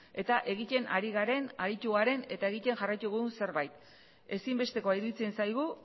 eta egiten ari garen aritu garen eta egiten jarraituko dugun zerbait ezinbestekoa iruditzen zaigu